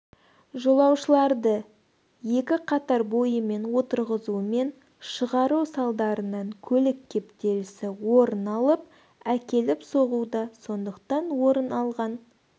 жолаушыларды екі қатар бойымен отырғызу мен шығару салдарынан көлік кептелісі орыналып әкеліп соғуда сондықтан орыналған